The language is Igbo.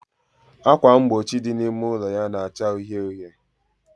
Ákwà mgbochi dị n'ime ụlọ ya na-acha uhie uhie